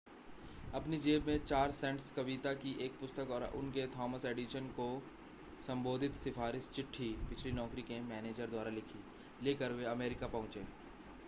अपनी जेब में 4 सेंट्स कविता की एक पुस्तक और उनके थॉमस एडिसन को संबोधित सिफारिशी चिट्ठी पिछली नौकरी के मैनेजर द्वारा लिखी लेकर वे अमरीका पहुंचे